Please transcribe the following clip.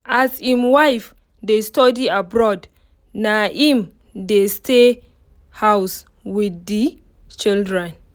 as im wife dey study abroad na im dey stay house with the children